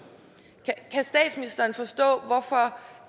kan statsministeren forstå hvorfor